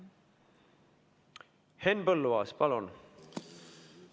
Henn Põlluaas, palun!